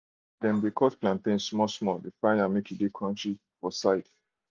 dem de cut plantain small-small fry am make e crunchy for side dish.